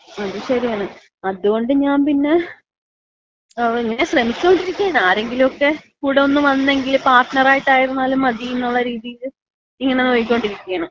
അത് ശരിയാണ്. അത് കൊണ്ട് ഞാമ്പിന്ന ഞാൻ ശ്രമിച്ചോണ്ടിരിക്കാണ്. ആരെങ്കിലും ഒക്കെ കൂടെ ഒന്ന് വന്നെങ്കില് പാർട്ണറായിട്ടായിരുന്നാലും മതി എന്നുള്ള രീതിയില് ഇങ്ങനെ നോക്കിക്കോണ്ടിരിക്കയാണ്.